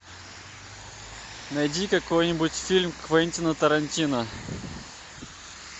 найди какой нибудь фильм квентина тарантино